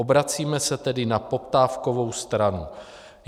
Obracíme se tedy na poptávkovou stranu.